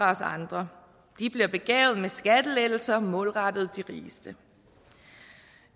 os andre de bliver begavet med skattelettelser målrettet de rigeste